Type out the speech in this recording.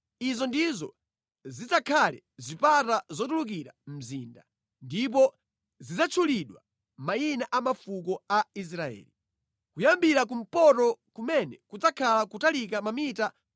“Izi ndizo zidzakhale zipata zotulukira mzinda, ndipo zidzatchulidwa mayina a mafuko a Israeli. Kuyambira kumpoto kumene kudzakhala kotalika mamita 2,250,